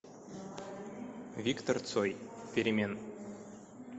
виктор цой перемен